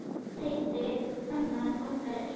Heiti kvenna margra er.